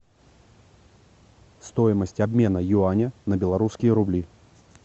стоимость обмена юаня на белорусские рубли